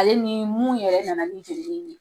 Ale ni mun yɛrɛ nana ni ye